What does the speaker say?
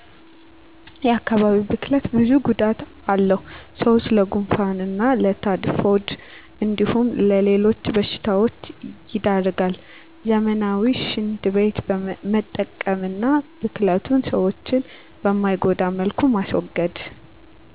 የአካባቢ ብክለት ብዙ ጉዳት አለው ሰዎችን ለጉንፋን እና ለታይፎይድ እንዲሁም ለሌሎች በሺታዎች ይዳርገል ዘመናዊ ሺንት ቤት መጠቀም አና ብክለቱን ሰዎችን በማይጎዳ መልኩ ማስወገድ